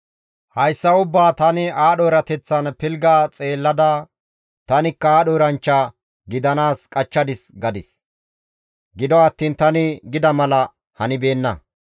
Hayssa ubbaa tani aadho erateththan pilgga xeellada, «Tanikka aadho eranchcha gidanaas qachchadis» gadis. Gido attiin tani gida mala hanibeenna.